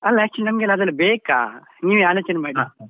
ಅಲ್ಲ actually ನಮ್ಗೆಲ್ಲ ಅದೆಲ್ಲ ಬೇಕಾ ನೀವೆ ಆಲೋಚನೆ ಮಾಡಿ .